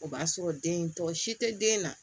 O b'a sɔrɔ den in tɔ si tɛ den na